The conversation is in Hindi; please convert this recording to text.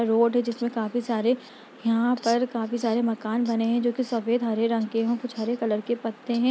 रोड है जिसमें काफी सारे यहाँ पर काफी सारे मकान बने हैं जो की सफ़ेद हरे रंग के हैं और कुछ हरे कलर के पत्ते हैं।